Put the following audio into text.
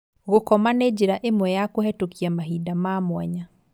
Gũkoma nĩ njĩra ĩmwe ya kũhetũkia mahinda ma mwanya